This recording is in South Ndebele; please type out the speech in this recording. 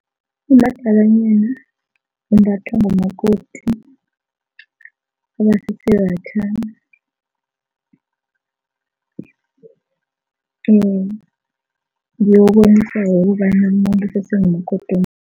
Umadalanyana umbathwa bomakoti abasesebatjha ususe ngumakoti